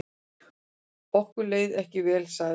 Okkur leið ekki vel sagði hún.